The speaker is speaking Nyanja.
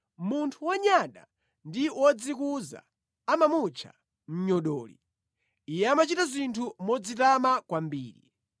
Munthu wonyada ndi wodzikuza amamutcha, “Mnyodoli,” iye amachita zinthu modzitama kwambiri.